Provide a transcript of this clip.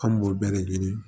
An b'o bɛɛ de ɲini